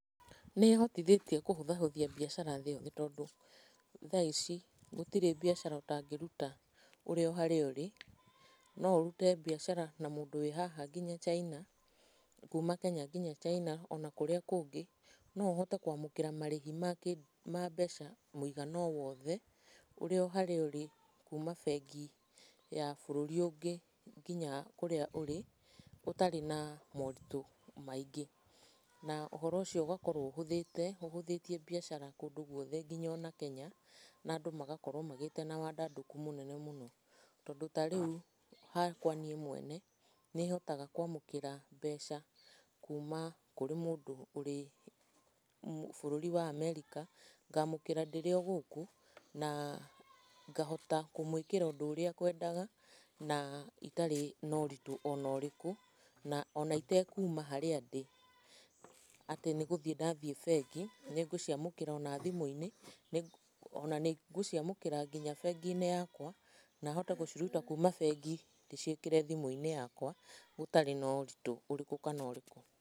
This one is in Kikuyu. Nĩ ĩhotithĩtie kũhũthahũthia mbiacara thĩ yothe tondũ, thaa ici gũtirĩ mbiacara ũtangĩruta ũrĩ o harĩa ũrĩ, no ũrute mbiacara na mũndũ wĩ haha nginya China , kuma Kenya nginya China ona kũrĩa kũngĩ. No uhote kwamũkĩra marĩhi ma mbeca mũigana o wothe, ũrĩ o harĩa ũrĩ kuma bengi ya bũrũri ũngĩ nginya kũrĩa ũrĩ ũtarĩ na moritũ maingĩ. Na ũhoro ũcio ũgakorwo ũhũthĩte ũhũthĩtie mbiacara kũndũ guothe nginya ona Kenya na andũ magakorwo magĩĩte na wandandũku mũnene mũno. Tondũ ta rĩu hakwa niĩ mwene , nĩ hotaga kwamũkĩra mbeca kuma kũrĩ mũndũ ũrĩ bũrũri wa America, ngamũkĩra ndĩrĩ o gũkũ na ngahota kũmwĩkĩra ũndũ ũrĩa akwendaga, na itarĩ na ũritũ ona ũrĩkũ na ona itekuma harĩa ndĩ, atĩ nĩ gũthiĩ ndathiĩ bengi. Nĩ ngũciamũkĩra ona thimũ-inĩ , ona nĩ ngũciamũkĩra nginya bengi-inĩ yakwa na hote gũciruta kuma bengi ndĩciĩkire thimũ-inĩ yakwa gũtarĩ na ũritũ ũrĩkũ kana ũrĩkũ.